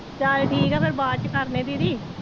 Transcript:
ਚਲ ਠੀਕ ਆ ਫਿਰ ਬਾਅਦ ਚ ਕਰਦੇ ਆ ਦੀਦੀ।